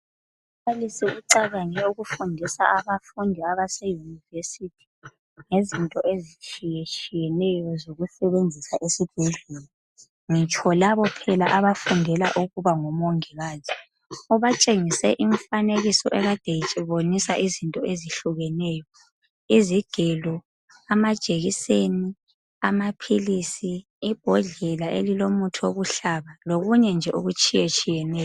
umbalisi ucabange ukufundisa abafundi abasema university ngezinto ezitshiyetshiyeneyo zokusebenzisa esibhedlela ngitsho labo phela abafundela ukuba ngo mongikazi ubatshengise imfanekiso ade ibonisa izinto ezihlukeneyo izigelo amajekiseni amaphilisi ibhodlela elilombala elilomuthi wokuhlaba lokunye nje okutshiyetshiyeneyo